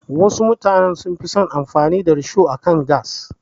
Wasu mutanen sun fi son amfani da risho akan gas.